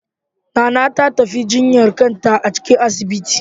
Nana ta tafi jinyar kanta a cikin asibitin.